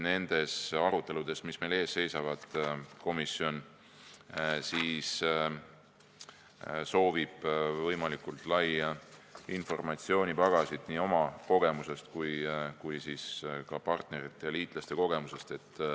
Nendes aruteludes, mis meil ees seisavad, soovib komisjon kindlasti saada võimalikult laia informatsioonipagasit nii oma kogemuse kui ka partnerite ja liitlaste kogemuse põhjal.